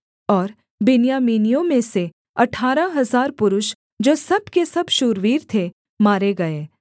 और बिन्यामीनियों में से अठारह हजार पुरुष जो सब के सब शूरवीर थे मारे गए